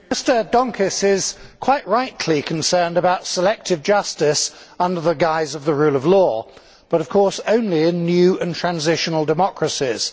Mr President, Mr Donskis is quite rightly concerned about selective justice under the guise of the rule of law, but of course only in new and transitional democracies.